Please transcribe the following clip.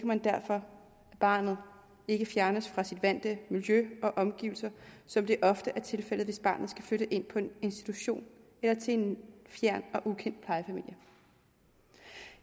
man derfor at barnet ikke fjernes fra sit vante miljø og omgivelser som det ofte er tilfældet hvis barnet skal flytte ind på en institution eller til en fjern og ukendt plejefamilie